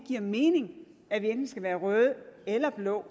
giver mening at vi enten skal være røde eller blå